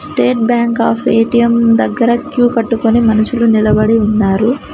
State Bank of A T M దగ్గర queue కట్టుకొని మనసులు నిలబడి ఉన్నారు.